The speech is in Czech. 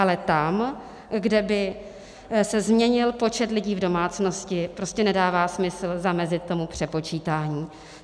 Ale tam, kde by se změnil počet lidí v domácnosti, prostě nedává smysl zamezit tomu přepočítání.